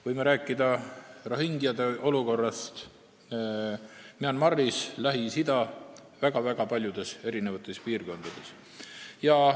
Võime rääkida rohingjade olukorrast Myanmaris ja väga paljudes Lähis-Ida piirkondades.